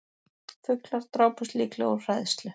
Fuglar drápust líklega úr hræðslu